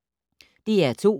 DR2